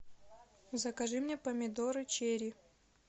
закажи мне помидоры черри